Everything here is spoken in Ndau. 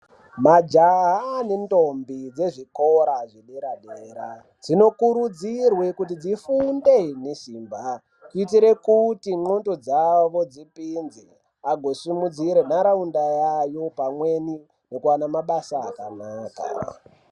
Majaha nendombi dzezvikora zvedera -dera dzainokurudzirwe kuti dzifunde nesimba, kuitire kuti ndxondo dzavo dzisimbe, agosimudzire nharaunda yayo pamweni nekuwana mabasa akanaka.